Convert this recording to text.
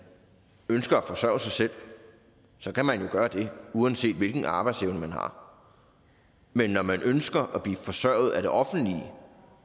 ønsker at forsørge sig selv kan man jo gøre det uanset hvilken arbejdsevne man har men når man ønsker at blive forsørget af det offentlige